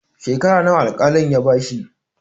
Shekara nawa al-kalin ya bashi?